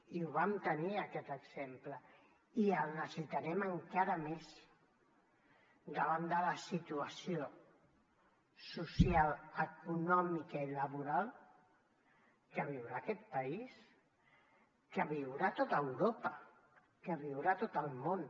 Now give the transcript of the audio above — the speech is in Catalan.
i la vam tenir en aquest exemple i la necessitarem encara més davant de la situació social econòmica i laboral que viurà aquest país que viurà tot europa que viurà tot el món